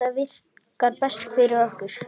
Þetta virkar best fyrir okkur.